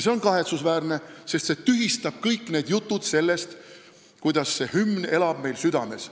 See on kahetsusväärne, sest see tühistab kõik jutud, kuidas hümn elab meil südames.